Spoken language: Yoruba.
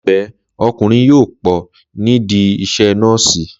Láìpẹ́, ọkùnrin yóò pọ̀ nídìí iṣẹ́ nọ́ọ̀sì